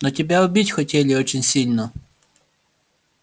но тебя убить хотели очень сильно